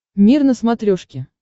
мир на смотрешке